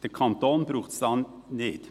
Den Kanton braucht es da nicht.